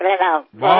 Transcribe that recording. नमस्कार